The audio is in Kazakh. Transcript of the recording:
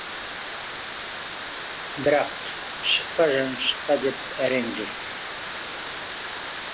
бірақ шықпа жаным шықпа деп әрең жүр